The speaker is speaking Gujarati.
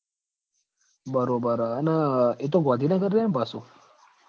બરોબર હ અન એતો ગૉધીનગર રેહ ન પાસો